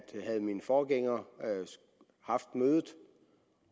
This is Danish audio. havde min forgænger haft mødet